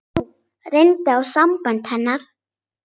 Nú reyndi á sambönd hennar.